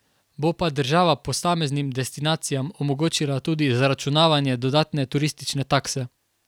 Bo pa država posameznim destinacijam omogočila tudi zaračunavanje dodatne turistične takse.